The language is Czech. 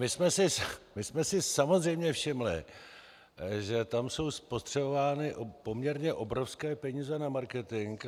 My jsme si samozřejmě všimli, že tam jsou spotřebovány poměrně obrovské peníze na marketing.